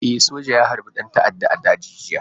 E, soja ya harbi ɗan ta'adda a daji jiya.